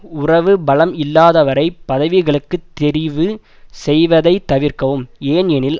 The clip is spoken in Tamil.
உறவு பலம் இல்லாதவரைப் பதவிகளுக்கு தெரிவு செய்வதை தவிர்க்கவும் ஏன் எனில்